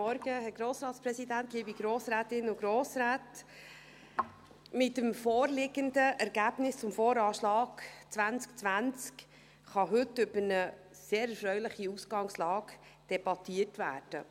Mit dem vorliegenden Ergebnis des VA 2020 kann heute über eine sehr erfreuliche Ausgangslage debattiert werden.